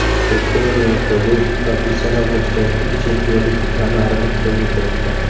Bektemir Meliqo‘ziyev professional boksdagi ilk chempionlik kamarini qo‘lga kiritdi.